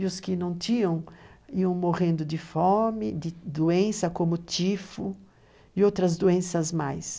E os que não tinham, iam morrendo de fome, de doença como tifo e outras doenças mais.